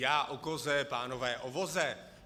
Já o koze, pánové o voze.